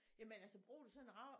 Jamen altså bruger du sådan en rav